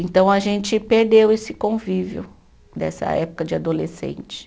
Então, a gente perdeu esse convívio dessa época de adolescente.